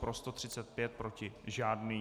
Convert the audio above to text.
Pro 135, proti žádný.